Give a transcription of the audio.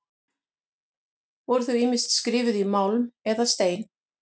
Voru þau ýmist skrifuð í málm eða stein.